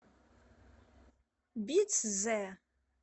бицзе